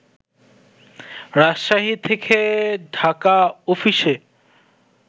রাজশাহী থেকে ঢাকা অফিসে